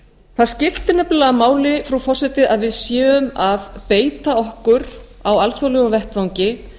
það skiptir nefnilega máli frú forseti að við séum að beita okkur á alþjóðlegum vettvangi